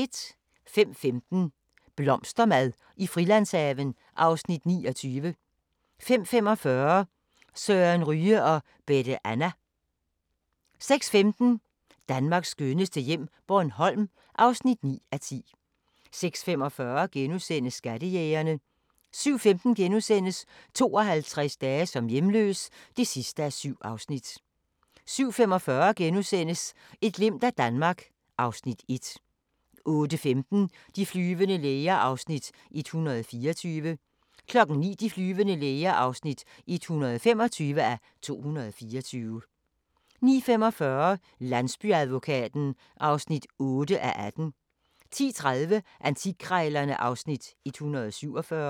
05:15: Blomstermad i Frilandshaven (Afs. 29) 05:45: Søren Ryge og Bette Anna 06:15: Danmarks skønneste hjem - Bornholm (9:10) 06:45: Skattejægerne * 07:15: 52 dage som hjemløs (7:7)* 07:45: Et glimt af Danmark (Afs. 1)* 08:15: De flyvende læger (124:224) 09:00: De flyvende læger (125:224) 09:45: Landsbyadvokaten (8:18) 10:30: Antikkrejlerne (Afs. 147)